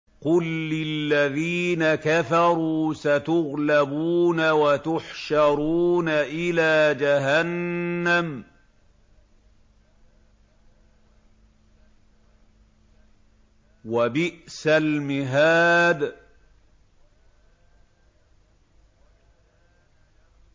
قُل لِّلَّذِينَ كَفَرُوا سَتُغْلَبُونَ وَتُحْشَرُونَ إِلَىٰ جَهَنَّمَ ۚ وَبِئْسَ الْمِهَادُ